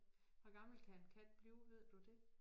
Hvor gammel kan en kat blive ved du det?